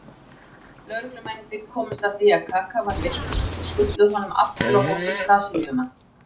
Lögreglumennirnir komust að því að Kaka var villtur og skutluðu honum aftur á hótel Brasilíumanna.